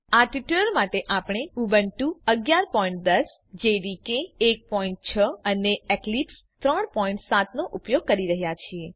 આ ટ્યુટોરીયલ માટે આપણે ઉબુન્ટુ 1110 જેડીકે 16 અને એક્લિપ્સ 37 ઉપયોગ કરી રહ્યા છીએ